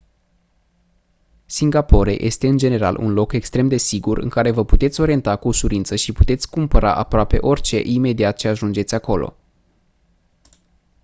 singapore este în general un loc extrem de sigur în care vă puteți orienta cu ușurință și puteți cumpăra aproape orice imediat ce ajungeți acolo